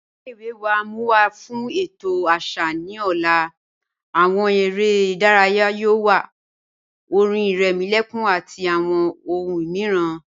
Ilẹ̀-iwe wa n mú wa fún ètò àṣà ni ọ̀lá, awọn èrè idáràyà yóò wà, ọ̀rìn ìrèmòlẹ̀kùn àti awọn ọ̀hùn míìràn.